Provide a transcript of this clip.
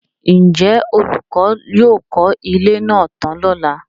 Ǹjẹ́ olùkọ́ yóò kọ́ ilé máa tán lọ́lá?